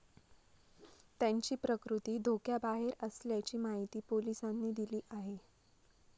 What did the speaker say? त्यांची प्रकृती धोक्याबाहेर असल्याची माहिती पोलिसांनी दिली आहे.